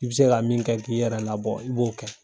I bi se ka min kɛ k'i yɛrɛ labɔ i b'o kɛ.